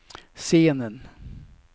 scenen